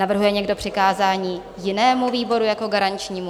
Navrhuje někdo přikázání jinému výboru jako garančnímu?